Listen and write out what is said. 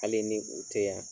Hali ni u tɛ yan,